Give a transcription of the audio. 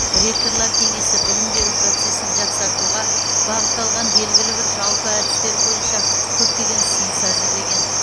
ректорлар кеңесі білім беру процесін жақсартуға бағытталған белгілі бір жалпы әдістер бойынша көптеген ұсыныс әзірлеген